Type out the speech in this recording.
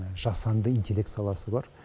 жасанды интеллект саласы бар